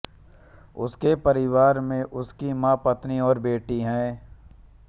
उनके परिवार में उनकी मां पत्नी और बेटी हैं